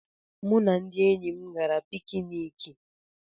Mụ na ndị enyi m gara pikiniki.